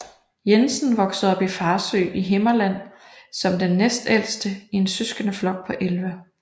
Jensen voksede op i Farsø i Himmerland som den næstældste i en søskendeflok på 11